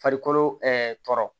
Farikolo tɔ